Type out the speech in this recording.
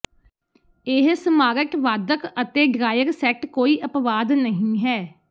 ਇਹ ਸਮਾਰਟ ਵਾਧਕ ਅਤੇ ਡ੍ਰਾਇਰ ਸੈੱਟ ਕੋਈ ਅਪਵਾਦ ਨਹੀਂ ਹੈ